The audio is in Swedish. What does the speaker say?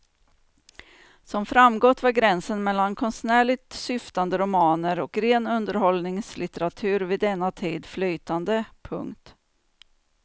Som framgått var gränsen mellan konstnärligt syftande romaner och ren underhållningslitteratur vid denna tid flytande. punkt